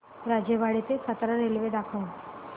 राजेवाडी ते सातारा रेल्वे दाखव